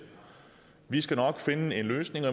vi skal nok finde en løsning og